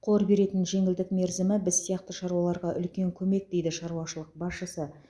қор беретін жеңілдік мерзімі біз сияқты шаруаларға үлкен көмек дейді шаруашылық басшысы